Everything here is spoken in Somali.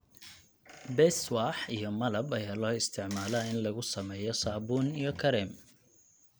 Beeswax iyo malab ayaa loo isticmaalaa in lagu sameeyo saabuun iyo kareem.